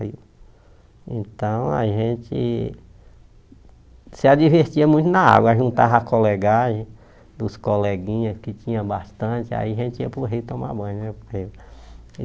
Aí então a gente se divertia muito na água, a juntava a colegagem os coleguinhas que tinha bastante, aí a gente ia para o rio tomar banho.